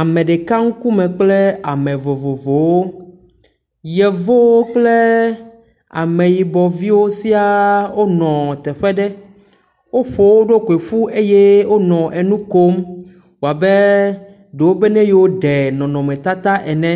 Ameɖeka ŋkume ble ame vovovowo. Yevuwo kple ameyibɔviwo siaa onɔ teƒe ɖe. Woƒo wo ɖokui ƒu eye wonɔ enu kom. Wɔbe ɖewo be ne yewo ɖe nɔnɔmetata ene.